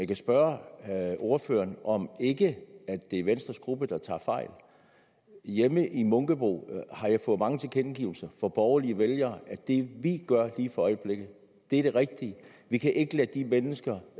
kan spørge ordføreren om det ikke er venstres gruppe der tager fejl hjemme i munkebo har jeg fået mange tilkendegivelser fra borgerlige vælgere at det vi gør lige for øjeblikket er det rigtige vi kan ikke lade de mennesker